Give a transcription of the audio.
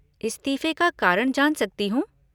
इस्तीफे का कारण जान सकती हूँ?